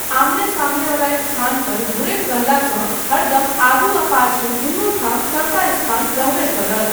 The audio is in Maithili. आमने सामनेवला स्थान पर घुरैत रहलासँ हरदम आगू आ पाछू दुनू ठाम सबटा स्थान रहबे करत।